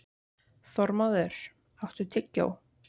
Þormóður, áttu tyggjó?